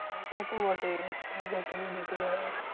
সেটা তো বটেই উচ্চমাধ্যমিক টা তো দিতেই হবে।